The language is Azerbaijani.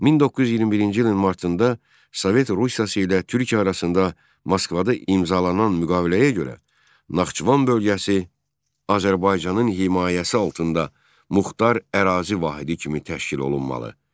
1921-ci ilin martında Sovet Rusiyası ilə Türkiyə arasında Moskvada imzalanan müqaviləyə görə Naxçıvan bölgəsi Azərbaycanın himayəsi altında muxtar ərazi vahidi kimi təşkil olunmalı.